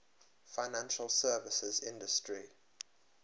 financial services industry